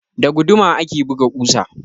Da guduma ake buga ƙusa.